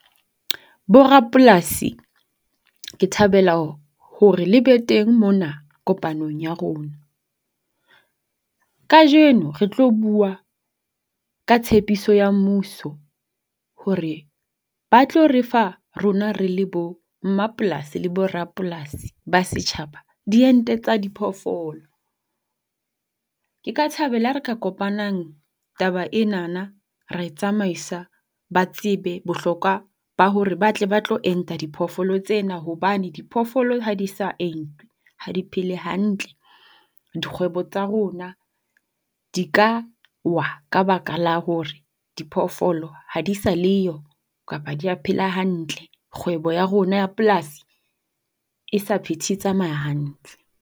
Bo rapolasi, ke thabela hore le be teng mona kopanong ya rona. Kajeno re tlo bua ka tshepiso ya mmuso hore ba tlo re fa rona re le bo mmapolasi le bo rapolasi ba setjhaba diente tsa diphoofolo. Ke ka thabela ha re ka kopanang taba enana ra e tsamaisa ba tsebe bohlokwa ba hore ba tle ba tlo enta diphoofolo tsena hobane diphoofolo ha di sa entwe ha di phele hantle. Dikgwebo tsa rona di ka wa ka baka la hore diphoofolo ha di sa le yo kapa ha dia phela hantle. Kgwebo ya rona ya polasi e sa phethe e tsamaya hantle.